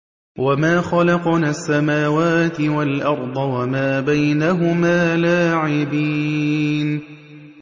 وَمَا خَلَقْنَا السَّمَاوَاتِ وَالْأَرْضَ وَمَا بَيْنَهُمَا لَاعِبِينَ